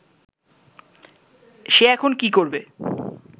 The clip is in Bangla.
সে এখন কী করবে